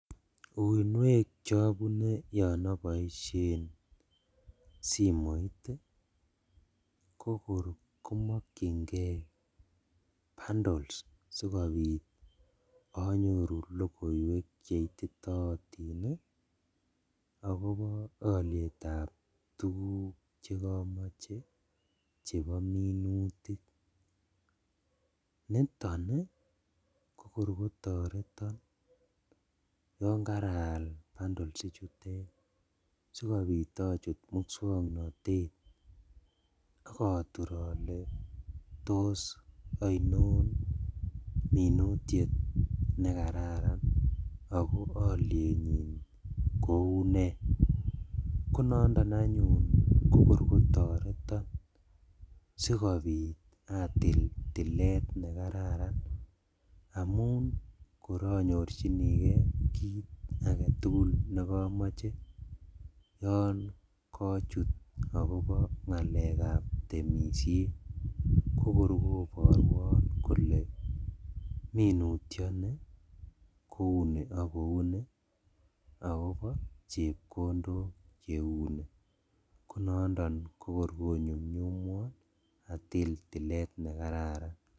Uinwek chobune yon oboishen simoit ii kokor komokyingee bundles sikobit onyoru logoiwek cheititotin ii akobo olietab tuguk chekomoche chebo minutik, niton kokor kotoreton yon karaal bundles ichutet sikobit ochut muswoknotet okotur ole tos oinon minutiet nekararan ako olienyin koune, konondo anyun kotoreton sikobit atil tilet nekararan amun kor onyorjinikee kit aketugul nekomoche yon kochut akobo ngalekab temishet kokor koboruon kole minutioni kouni ok kouni akobo chepkondok cheuni konondon kokor konyumnyummwon atil tilet nekararan.